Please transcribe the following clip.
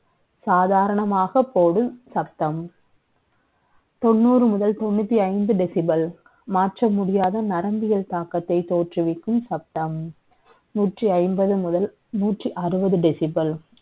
சாதாரணமாகப் ப ோடு சத்தம். த ொண்ணூறு முதல் த ொண்ணூத்தி ஐந்து decibel, மாற்ற நரம்பியல் தாக்கத்தை த ோற்றுவிக்கும் சத்தம். நூற்றி ஐம்பது முதல், நூற்றி அறுபது. decision